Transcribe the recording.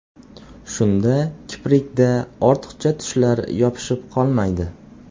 Shunda kiprikda ortiqcha tushlar yopishib qolmaydi.